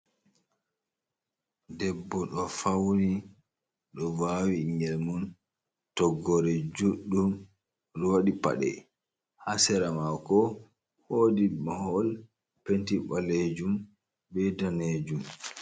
Debbo ɗo fauni ɗo vawi ɓingel mun toggore juɗɗum oɗo waɗi pade, ha sera mako wodi mahol penti ɓalejum be danejum.